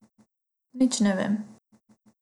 Nič ne vem.